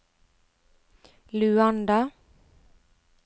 Luanda